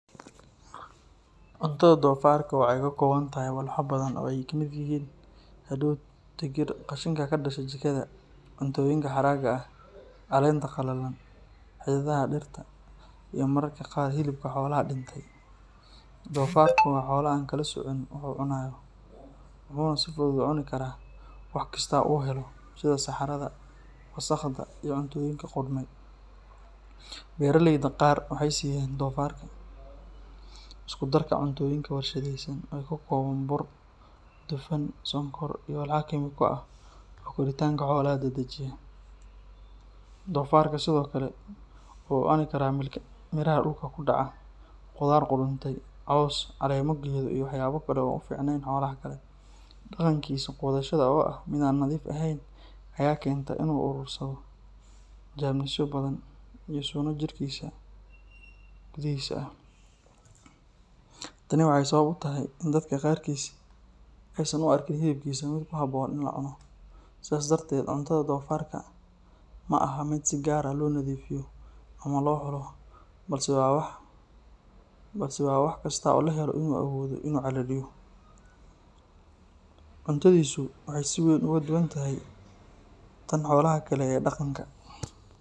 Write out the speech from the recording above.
Cuntada doofaarka waxay ka kooban tahay walxo badan oo ay ka mid yihiin hadhuudh, digir, qashinka ka dhasha jikada, cuntooyinka haraaga ah, caleenta qalalan, xididdada dhirta, iyo mararka qaar hilibka xoolaha dhintay. Doofaarku waa xoolo aan kala soocin waxa uu cunayo, wuxuuna si fudud u cuni karaa wax kasta oo uu helo, sida saxarada, wasakhda, iyo cuntooyinka qudhmay. Beeraleyda qaar waxay siiyaan doofaarka isku darka cuntooyinka warshadaysan oo ka kooban bur, dufan, sonkor, iyo walxo kiimiko ah oo koritaanka xoolaha dedejiya. Doofaarka sidoo kale wuxuu cuni karaa miraha dhulka ku dhacaya, khudaar qudhuntay, caws, caleemo geedo, iyo waxyaabo kale oo aan u fiicnayn xoolaha kale. Dhaqankiisa quudashada oo ah mid aan nadiif ahayn ayaa keenta in uu urursado jeermisyo badan iyo suno jidhkiisa gudihiisa ah. Tani waxay sabab u tahay in dadka qaarkiis aysan u arkin hilibkiisa mid ku habboon in la cuno. Sidaas darteed, cuntada doofaarka ma aha mid si gaar ah loo nadiifiyo ama loo xulo, balse waa wax kasta oo la helo oo uu awoodo inuu calaliyo. Cuntadiisu waxay si weyn uga duwan tahay tan xoolaha kale ee dhaqanka.